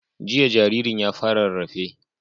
Jiya jaririn ya fara rarrafe